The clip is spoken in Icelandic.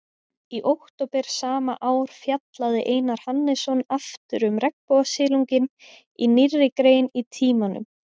Í október sama ár fjallaði Einar Hannesson aftur um regnbogasilunginn í nýrri grein í Tímanum.